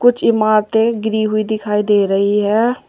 इमारते गिरी हुई दिखाई दे रही है।